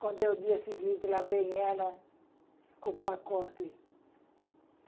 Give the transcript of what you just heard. Quando é o dia seguinte, lá vem ela com o pacote.